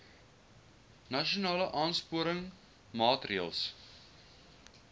nasionale aansporingsmaatre ls